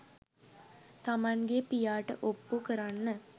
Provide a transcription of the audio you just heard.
තමන්ගේ පියාට ඔප්පු කරන්න